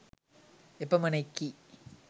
එපමණෙකි